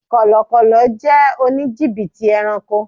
Kọlọkọ́lọ́ jẹ́ òní jìbìtì ẹranko.